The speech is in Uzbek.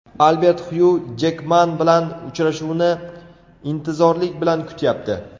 Albert Xyu Jekman bilan uchrashuvni intizorlik bilan kutyapti.